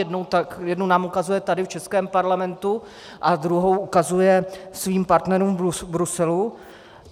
Jednu nám ukazuje tady v českém Parlamentu a druhou ukazuje svým partnerům v Bruselu.